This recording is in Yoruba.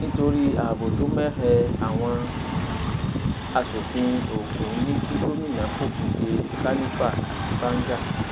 nítorí ààbò tó mẹhẹ àwọn asòfin ògún ní kí gomina fòfin dé kànìfà àti báńgá